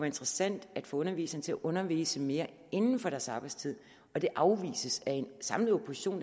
interessant at få underviserne til at undervise mere inden for deres arbejdstid afvises det af en samlet opposition